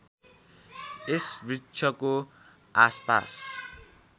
यस वृक्षको आसपास